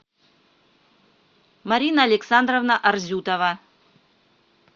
марина александровна арзютова